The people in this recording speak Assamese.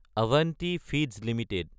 Avanti feeds Ltd